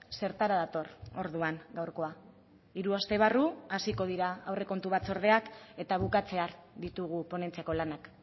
zertara dator orduan gaurkoa hiru aste barru hasiko dira aurrekontu batzordeak eta bukatzear ditugu ponentziako lanak